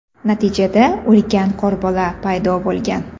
Natijada ulkan qorbola paydo bo‘lgan.